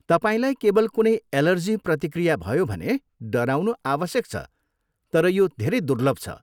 तपाईँलाई केवल कुनै एलर्जी प्रतिक्रिया भयो भने डराउनु आवश्यक छ तर यो धेरै दुर्लभ छ।